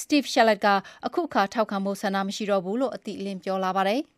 စတိဖ်ရှက်လက်က အခုအခါ ထောက်ခံဖို့ ဆန္ဒမရှိဘူးတော့ဘူးလို့ အတိအလင်းပြောလာပါတယ်။